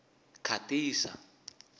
khatisa